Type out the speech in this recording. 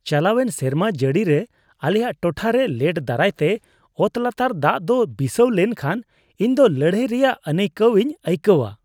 ᱪᱟᱞᱟᱣᱮᱱ ᱥᱮᱨᱢᱟ ᱡᱟᱹᱲᱤᱨᱮ ᱟᱞᱮᱭᱟᱜ ᱴᱚᱴᱷᱟᱨᱮ ᱞᱮᱴ ᱫᱟᱨᱟᱭᱛᱮ ᱚᱛᱞᱟᱛᱟᱨ ᱫᱟᱜ ᱫᱚ ᱵᱤᱥᱟᱹᱣ ᱞᱮᱱᱠᱷᱟᱱ ᱤᱧᱫᱚ ᱞᱟᱹᱲᱦᱟᱹᱭ ᱨᱮᱭᱟᱜ ᱟᱹᱱᱟᱹᱭᱠᱟᱹᱣᱤᱧ ᱟᱹᱭᱠᱟᱹᱣᱟ ᱾